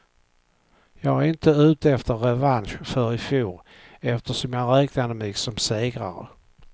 Jag är inte ute efter revansch för ifjol, eftersom jag räknade mig som segrare.